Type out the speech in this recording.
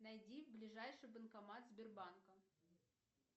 найди ближайший банкомат сбербанка